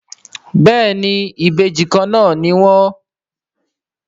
béèni Ìbejì kànnà ní wón.